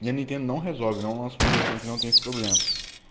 для меня много зон смотреть внутренних проблем